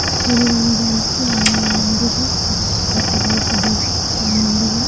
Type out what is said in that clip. श्री राम जानकी हनुमान मंदिर है। जो की काफी बहोत बड़ा है। हनुमान मंदिर है।